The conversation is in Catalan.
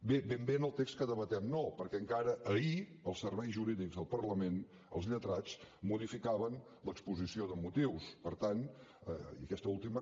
bé ben bé en el text que debatem no perquè encara ahir els serveis jurídics del parlament els lletrats modificaven l’exposició de motius per tant i aquesta ultima